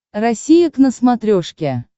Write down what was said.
россия к на смотрешке